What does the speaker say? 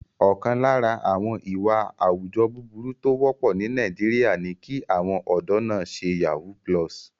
Ọ̀kan lára àwọn ìwà àwùjọ búburú tó wọ́pọ̀ ní Nàìjíríà ni kí àwọn ọ̀dọ́ náà ṣe yahoo+.